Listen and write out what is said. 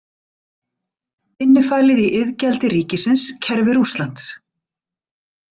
Innifalið í iðgjald ríkisins kerfi Rússlands.